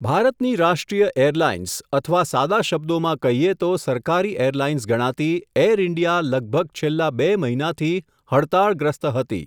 ભારતની રાષ્ટ્રિય એરલાઇન્સ, અથવા સાદા શબ્દોમાં કહીએ તો સરકારી એરલાઇન્સ ગણાતી, એર ઇન્ડિયા લગભગ છેલ્લા બે મહિનાથી હડતાળગ્રસ્ત હતી.